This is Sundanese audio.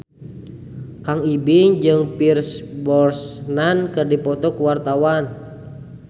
Kang Ibing jeung Pierce Brosnan keur dipoto ku wartawan